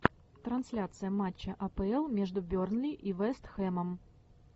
трансляция матча апл между бернли и вест хэмом